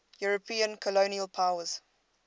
european colonial powers